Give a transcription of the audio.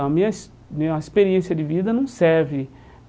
A minha ex minha experiência de vida não serve.